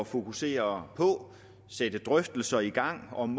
fokusere på sætte drøftelser i gang om